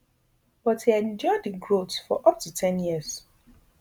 but e endure di growth for up to ten years